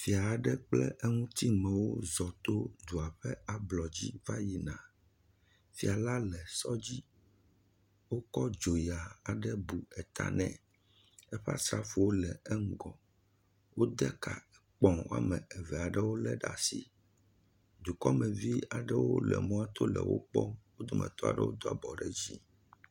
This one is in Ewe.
Fia aɖe kple eŋutimewo zɔ̃ to dua ƒe ablɔdzi va yina. Fia la le sɔ dzi wokɔ dzoya aɖe bu ta nɛ. Eƒe asrafowo le ŋgɔ. Wode ka gbɔ̃ wɔme eve aɖewo ɖe asi. Dukɔmevi aɖewo le mɔ to le wo kpɔm. Wo dometɔ aɖewo do abɔ ɖe dzi.